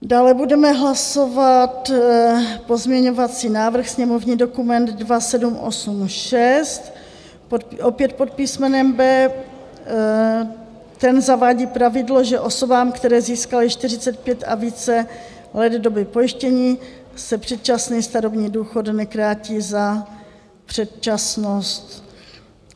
Dále budeme hlasovat pozměňovací návrh, sněmovní dokument 2786 opět pod písmenem B. Ten zavádí pravidlo, že osobám, které získaly 45 a více let doby pojištění, se předčasný starobní důchod nekrátí za předčasnost.